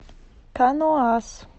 каноас